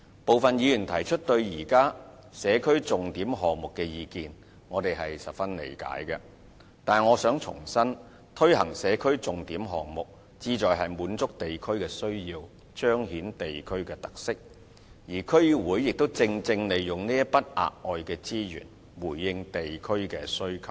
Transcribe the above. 部分議員提出對現有社區重點項目的意見，我們十分理解，但我想重申，推行社區重點項目，旨在滿足地區的需要，彰顯地區特色，而區議會亦正正利用這筆額外的資源，回應地區的需求。